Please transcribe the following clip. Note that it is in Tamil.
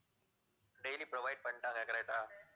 daily provide பண்ணிட்டாங்க correct ஆ